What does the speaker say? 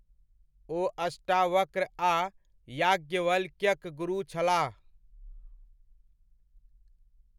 ओ अष्टावक्र आ याज्ञवल्क्यक गुरु छलाह।